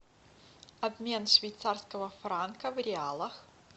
обмен швейцарского франка в реалах